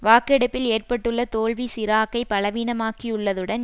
வாக்கெடுப்பில் ஏற்பட்டுள்ள தோல்வி சிராக்கை பலவீனமாக்கியுள்ளதுடன்